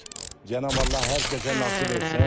Cənab Allah hər kəsə nəsib etsin.